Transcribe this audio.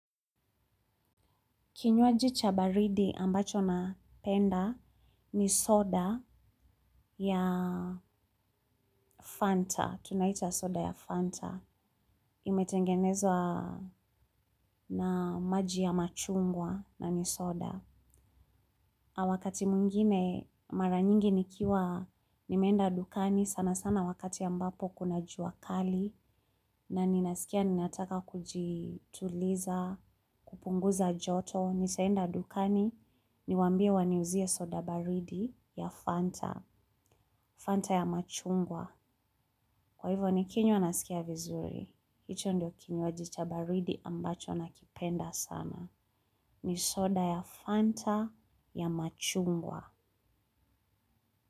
Kinywaji cha baridi ambacho napenda ni soda ya Fanta. Tunaita soda ya Fanta. Imetengenezwa na maji ya machungwa na ni soda. Na wakati mwingine mara nyingi nikiwa nimeenda dukani sana sana wakati ambapo kuna jua kali. Na ninasikia ninataka kujituliza, kupunguza joto. Nisaenda dukani, niwaambie waniuzie soda baridi. Ya fanta. Fanta ya machungwa. Kwa hivyo nikinywa naskia vizuri. Hicho ndio kinywaji cha baridi ambacho nakipenda sana. Ni soda ya Fanta ya machungwa.